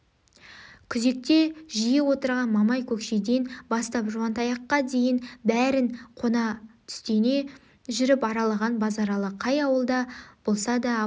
күзекте жиі отырған мамай көкшеден бастап жуантаяққа дейін бәрін қона-түстене жүріп аралаған базаралы қай ауылда болса да абай